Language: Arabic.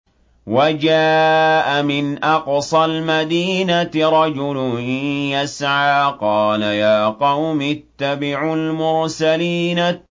وَجَاءَ مِنْ أَقْصَى الْمَدِينَةِ رَجُلٌ يَسْعَىٰ قَالَ يَا قَوْمِ اتَّبِعُوا الْمُرْسَلِينَ